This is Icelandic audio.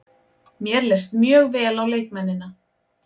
Mér leist mjög vel á leikmennina.